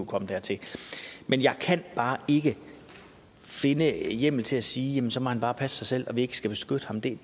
komme dertil men jeg kan bare ikke finde hjemmel til at sige at så må han bare passe sig selv og at vi ikke skal beskytte ham det